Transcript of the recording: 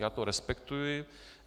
Já to respektuji.